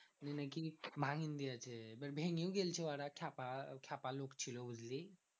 ওই নাকি ভাঙিন দিয়েছে। এবার ভেঙেই গেছে ওরা খ্যাপা খ্যাপা লোক ছিল বুঝলি?